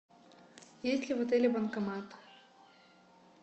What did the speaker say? есть ли в отеле банкомат